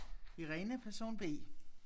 Irene person B